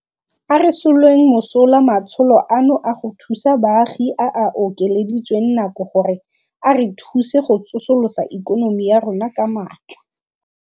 A re soleng mosola matsholo ano a go thusa baagi a a okeleditsweng nako gore a re thuse go tsosolosa ikonomi ya rona ka maatla.